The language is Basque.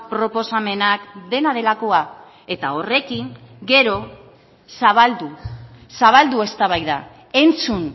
proposamenak dena delakoa eta horrekin gero zabaldu zabaldu eztabaida entzun